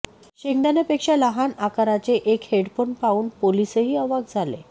शेंगदाण्यापेक्षा लहान आकाराचे एक हेडफोन पाहून पोलिसही अवाक् झाले